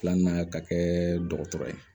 Filanan ka kɛ dɔgɔtɔrɔ ye